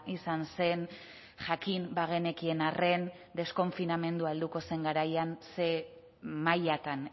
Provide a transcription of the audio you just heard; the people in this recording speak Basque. izan zen jakin bagenekien arren deskonfinamendua helduko zen garaian zer mailatan